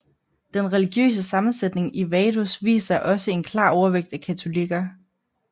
Den religiøse sammensætning i Vaduz viser også en klar overvægt af katolikker